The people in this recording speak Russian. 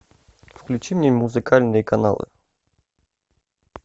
включи мне музыкальные каналы